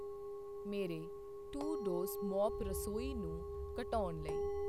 ਮੇਰੇ to-dos mop ਰਸੋਈ ਨੂੰ ਕਟਾਉਣ ਲਈ